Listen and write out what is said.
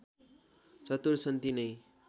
चतुर छन् तिनै